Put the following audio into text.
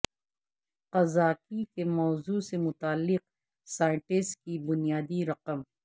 قزاقی کے موضوع سے متعلق سائٹس کی بنیادی رقم